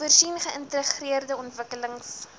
voorsien geïntegreerde ontwikkelings